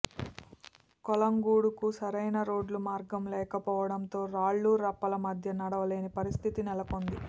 కొలంగూడకు సరైన రోడ్డు మార్గం లేకపోవడంతో రాళ్లురప్పల మధ్య నడవలేని పరిస్థితి నెలకొంది